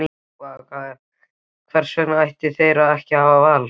Vaka: Hvers vegna ættu þeir ekki að hafa val?